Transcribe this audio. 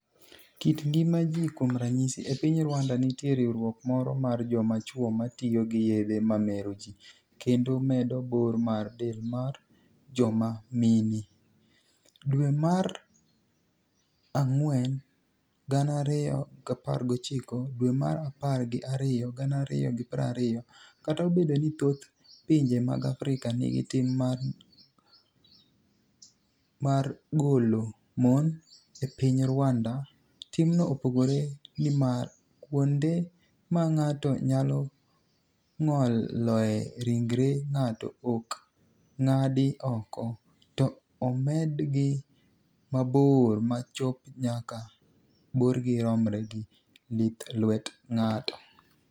Kit nigima ji Kuom raniyisi, e piniy Rwanida, niitie rwruok moro mar joma chwo ma tiyo gi yedhe mameroji kenido medo bor mar del mar joma mini e.1 Dwe mar anig'weni 2019 Dwe mar apar gi ariyo 2020 Kata obedo nii thoth pinije mag Afrika niigi tim mar nig'olo moni, e piniy Rwanida timno opogore, niimar kuonide ma nig'ato niyalo nig'oloe rinigre nig'ato ok nig'adgi oko, to omedgi mabor ma chop kama borgi romre gi lith lwet nig'ato.